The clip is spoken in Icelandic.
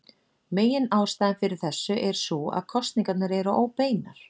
Meginástæðan fyrir þessu er sú að kosningarnar eru óbeinar.